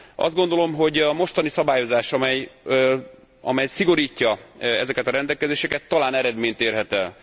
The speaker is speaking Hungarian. Azt gondolom, hogy a mostani szabályozás, amely szigorítja ezeket a rendelkezéseket talán eredményt érhet el.